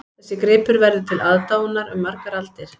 Þessi gripur verður til aðdáunar um margar aldir